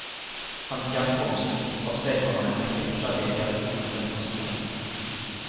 Hans hjemkomst avstedkommer en rekke forskjellige reaksjoner fra de fastboende.